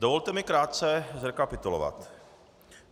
Dovolte mi krátce zrekapitulovat.